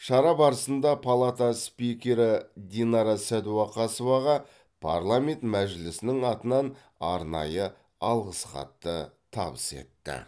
шара барысында палата спикері динара сәдуақасоваға парламент мәжілісінің атынан арнайы алғыс хатты табыс етті